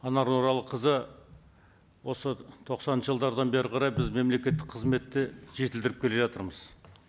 анар нұралықызы осы тоқсаныншы жылдан бері қарай біз мемлекеттік қызметті жетілдіріп келе жатырмыз